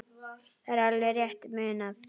Það er alveg rétt munað.